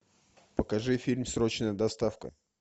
покажи фильм срочная доставка